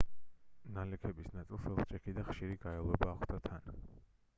ნალექების ნაწილს ელჭექი და ხშირი გაელვება ახლდა თან